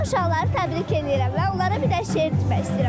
Mən uşaqları təbrik eləyirəm və onlara bir dənə şeir demək istəyirəm.